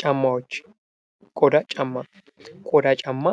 ጫማዎች ቆዳ ጫማ። ቆዳ ጫማ